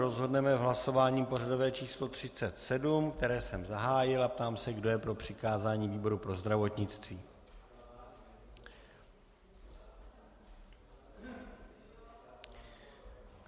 Rozhodneme v hlasování pořadové číslo 37, které jsem zahájil a ptám se, kdo je pro přikázání výboru pro zdravotnictví.